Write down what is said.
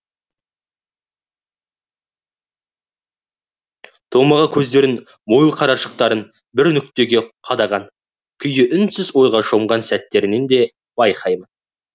томаға кездерінің мойыл қарашықтарын бір нүктеге қадаған күйі үнсіз ойға шомған сәттерін де жиі байқаймын